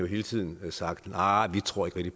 hele tiden har sagt nej vi tror ikke